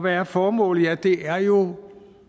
er formålet ja det er jo